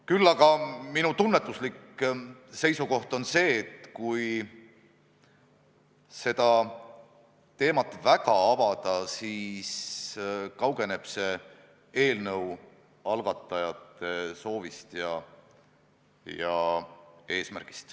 Küll aga minu tunnetuslik seisukoht on see, et kui seda teemat väga avada, siis kaugeneb see eelnõu algatajate soovist ja eesmärgist.